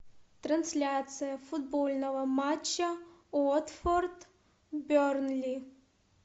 трансляция футбольного матча уотфорд бернли